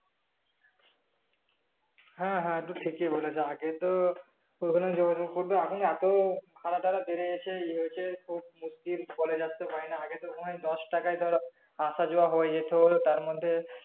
হ্যাঁ হ্যাঁ তুমি ঠিকই আগে তো বলেছ কোথাও যোগাযোগ করলে এখন ভাড়া টারা বেড়ে গেছে ইয়ে হয়েছে খুব মুশকিল কলেজে আসতে পারি না আগে তো দশ টাকায় ধরো আসা যাওয়া হয়ে যেত তারমধ্যে